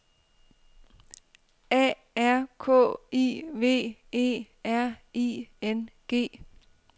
A R K I V E R I N G